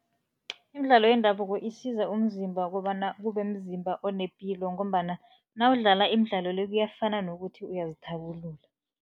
Imidlalo yendabuko isiza umzimba kobana kube mzimba onepilo ngombana nawudlala imidlalo le, kuyafana nokuthi uyazithabulula.